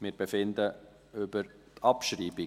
Wir befinden über die Abschreibung.